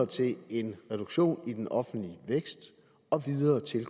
til en reduktion i den offentlige vækst og videre til